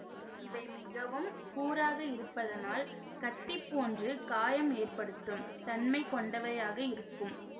இவை மிகவும் கூராக இருப்பதனால் கத்தி போன்று காயம் ஏற்படுத்தும் தன்மை கொண்டவையாக இருக்கும்